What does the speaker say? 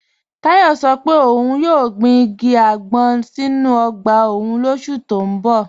Tayo sọ́ pé óun yóò gbìn igi agbọn sínu ogba ọ́un lósù tó n bọ̀.